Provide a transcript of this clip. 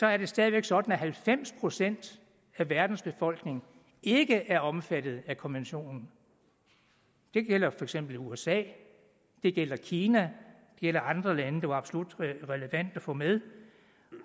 er det stadig væk sådan at halvfems procent af verdens befolkning ikke er omfattet af konventionen det gælder for eksempel usa det gælder kina det gælder andre lande der var absolut relevante at få med